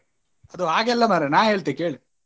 ಅದು ಹಾಗೆ ಅಲ್ಲ ಮಾರ್ರೆ ನಾನ್ ಹೇಳ್ತೆ ಕೇಳ್.